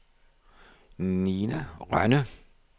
Nina Rønne